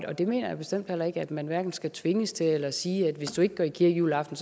og det mener jeg bestemt heller ikke at man man skal tvinges til eller at sige at hvis du ikke går i kirke juleaften